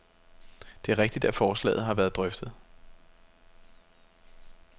Det er rigtigt, at forslaget har været drøftet.